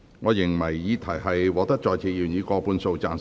我認為議題獲得在席議員以過半數贊成。